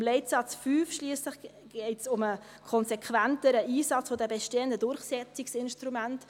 Im Leitsatz 5 schliesslich geht es um einen konsequenteren Einsatz der bestehenden Durchsetzungsinstrumente.